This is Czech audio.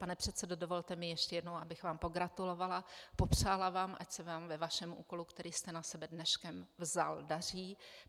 Pane předsedo, dovolte mi ještě jednou, abych vám pogratulovala, popřála vám, ať se vám ve vašem úkolu, který jste na sebe dneškem vzal, daří.